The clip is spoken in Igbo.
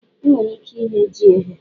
E nwere ike ighe ji eghe.